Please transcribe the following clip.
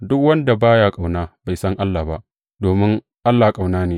Duk wanda ba ya ƙauna, bai san Allah ba, domin Allah ƙauna ne.